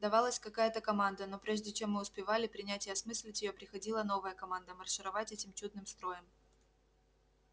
давалась какая-то команда но прежде чем мы успевали принять и осмыслить её приходила новая команда маршировать этим чудным строем